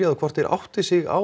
þá hvort þeir átti sig á